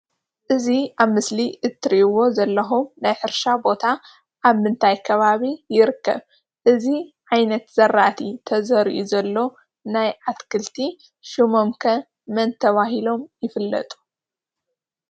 እዚ ኣብ ምስሊ እትሪእዎ ዘለኹም ናይ ሕርሻ ቦታ ኣብ ምንታይ ከባቢ ይርከብ? እዚ ዓይነት ዘራእቲ ተዘሪኡ ዘሎ ናይ ኣትክልቲ ሽሞም ከ መን ተባሂሎም ይፍለጡ?